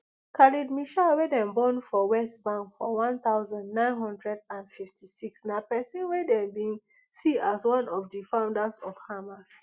khaled meshaal wey dem born for west bank for one thousand, nine hundred and fifty-six na pesin wey dem bin see as one of di founders of hamas